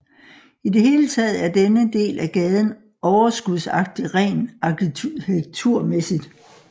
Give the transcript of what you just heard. I det hele taget er denne del af gaden overskudsagtig rent arkitekturmæssigt